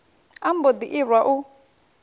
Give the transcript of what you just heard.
a mbo ḓi irwa u